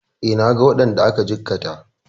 E, naga waɗanda aka jikkata.